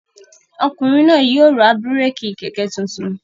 Ọkùnrin náà yóò ra búrékì kẹ̀kẹ́ tuntun.